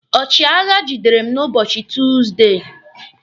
Ọchịagha gidere m n'ụbọchị Tuusdey